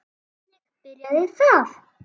Þannig byrjaði það.